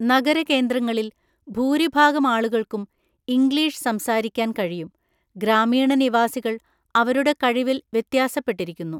നഗര കേന്ദ്രങ്ങളിൽ ഭൂരിഭാഗം ആളുകൾക്കും ഇംഗ്ലീഷ് സംസാരിക്കാൻ കഴിയും; ഗ്രാമീണ നിവാസികൾ അവരുടെ കഴിവിൽ വ്യത്യാസപ്പെട്ടിരിക്കുന്നു.